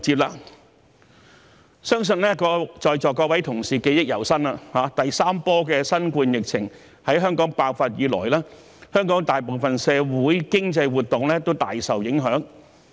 我相信在座各位同事記憶猶新，第三波的新冠肺炎疫情在香港爆發以來，香港大部分社會經濟活動均大受影響。